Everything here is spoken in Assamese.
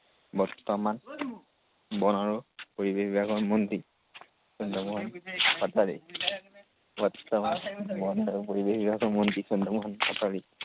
বৰ্তমান বন আৰু পৰিৱেশ বিভাগৰ মন্ত্ৰী। চন্দ্ৰমোহন পাটোৱাৰী। বৰ্তমান বন আৰু পৰিৱেশ বিভাগৰ মন্ত্ৰী চন্দ্ৰমোহন পাটোৱাৰী।